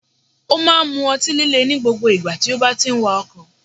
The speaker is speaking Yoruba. O máa n mu otí líle ní gbogbo ìgbà tí o bá ti n wakò